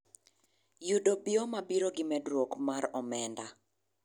Yudo bioma biro gi medruok mar omenda.